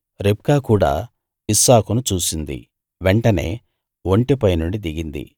రిబ్కా కూడా ఇస్సాకును చూసింది వెంటనే ఒంటె పైనుండి దిగింది